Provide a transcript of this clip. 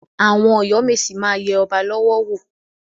Àwọn Ọ̀yọ́ mèsì máa yẹ ọba lọ́wọ́ wò.